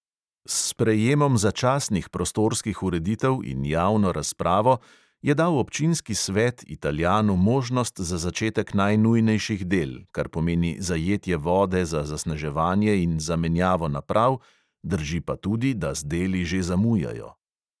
S sprejemom začasnih prostorskih ureditev in javno razpravo je dal občinski svet italijanu možnost za začetek najnujnejših del, kar pomeni zajetje vode za zasneževanje in zamenjavo naprav, drži pa tudi, da z deli že zamujajo.